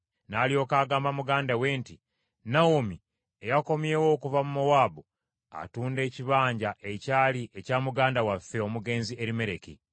N’alyoka agamba muganda we nti, “Nawomi, eyakomyewo okuva mu Mowaabu, atunda ekibanja ekyali ekya muganda waffe omugenzi Erimereki.